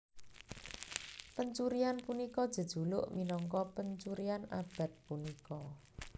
Pencurian punika jejuluk minangka pencurian abad punika